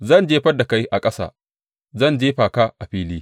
Zan jefar da kai a ƙasa zan jefa ka a fili.